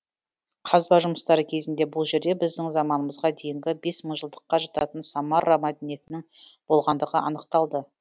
қазба жұмыстары кезінде бұл жерде біздің заманымызға дейінгі бес мыңжылдыққа жататын самарра мәдениетінің болғандығы анықталды